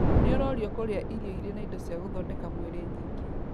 Nĩũrorio kũrĩa irio irĩ na indo cia gũthondeka mwĩrĩ nyingĩ